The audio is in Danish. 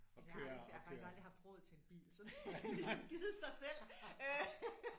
Altså jeg har aldrig jeg har faktisk aldrig haft råd til en bil så det har ligesom givet sig selv øh